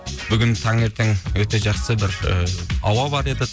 бүгін таңертең өте жақсы бір і ауа бар еді